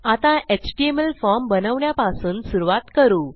आता HTML form बनवण्यापासून सुरूवात करू